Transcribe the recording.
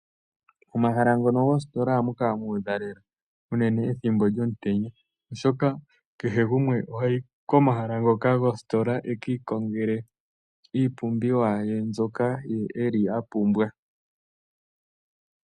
Omahala ngono goositola ohamu kala muudha lela, unene ethimbo lyomutenya oshoka kehe gumwe ohayi komahala ngoka goositola ekii kongele iipumbiwa ye nzoka eli apumbwa.